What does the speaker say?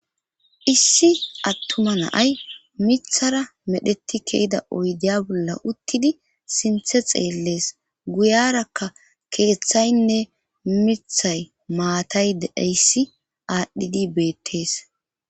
Issi attuma naay mithara medheti kehida oydiya bolla uttidi sinthe xeellees guyarakka keeththaynne mithay maatay dedeyssi aadhdhidi beettees